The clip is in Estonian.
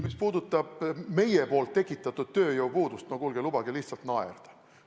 Mis puudutab meie tekitatud tööjõupuudust – no kuulge, lubage lihtsalt naerda.